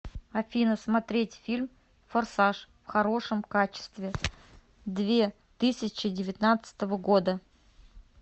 афина смотреть фильм форсаж в хорошем качестве две тысячи девятнадцатого года